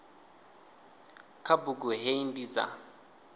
kha bugu hei ndi dza